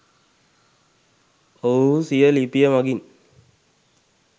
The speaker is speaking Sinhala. ඔවුහු සිය ලිපිය මගින්